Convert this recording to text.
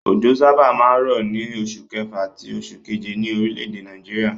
Òjò sábà máa ń rọ̀ ní oṣù kẹfà àti oṣù keje ní orílẹ̀-èdè Nàìjíríà.